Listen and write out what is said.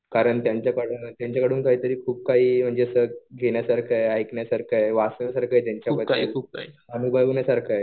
कारण त्यांच्याकडून काहीतरी खूप काही म्हणजे असं घेण्यासारखं आहे. ऐकण्यासारखं आहे. वाचण्यासारखं आहे त्यांच्याकडून. अनुभवण्यासारखं आहे.